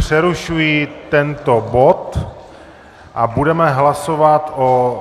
Přerušuji tento bod a budeme hlasovat o